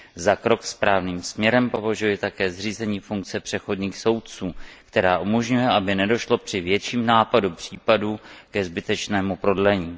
Za krok správným směrem považuji také zřízení funkce přechodných soudců, která umožňuje, aby nedošlo při větším návalu případů ke zbytečnému prodlení.